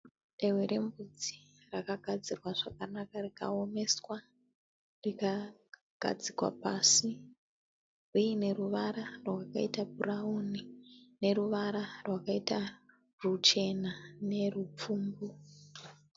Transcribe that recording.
Dehwe rembudzi rakagadzirwa zvakanaka rikaomeswa rakagadzikwa pasi. Rine ruvara rwakaita bhurauni neruvara rwakaita rwuchena nerupfumbu.